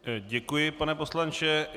Děkuji, pane poslanče.